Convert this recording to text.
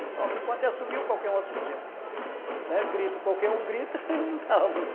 E pronto, enquanto ia assobio, qualquer um assobia, né, grito, qualquer um grita, eu não estava muito...